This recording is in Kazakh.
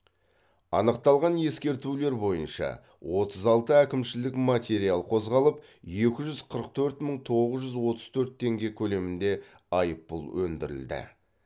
анықталған ескертулер бойынша отыз алты әкімшілік материал қозғалып екі жүз қырық төрт мың тоғыз жүз отыз төрт теңге көлемінде айыппұл өндірілді